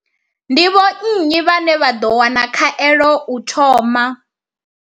Ndi vho nnyi vhane vha ḓo wana khaelo u thoma?